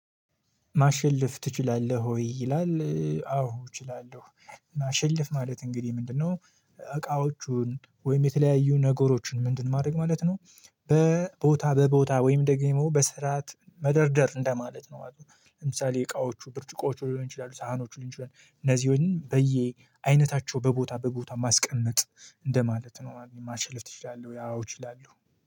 ማሸልፍ ትችላለህ ወይ? ይላል አዎ እችላለሁ ማሸልፍ ማለት እንግዲህ ምንድነው? እቃዎችን ወይም የተለያዩ ነገሮችን ምንድን ማድረግ ማለት ነው። በቦታ በቦታ ወይም ደግሞ በስርዓት መደርደር እንደማለት ነው ማለት ነው። ለምሳሌ እቃዎቹ ብርጭቆቹ ሊሆን ይችላሉ ሳህኖቹ ሊንችላል እነዚህ በየ አይነታቸው በቦታ በቦታ ማስቀመጥ እንደማለት ነው። ማሸልፍ ትችላለህ ወይ? አዎ እችላለሁ